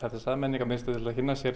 þessa menningarmiðstöð til að kynnast